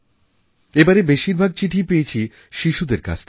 এবারের বেশিরভাগ চিঠিই পেয়েছি শিশুদের কাছ থেকে